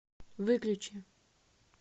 выключи